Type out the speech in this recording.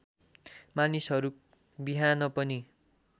मानिसहरू बिहान पनि